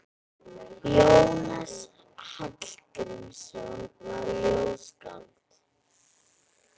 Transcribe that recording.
Jónas Hallgrímsson var ljóðskáld.